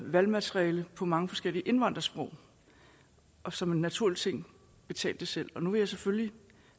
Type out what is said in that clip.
valgmateriale på mange forskellige indvandrersprog og som en naturlig ting betalt det selv nu vil jeg selvfølgelig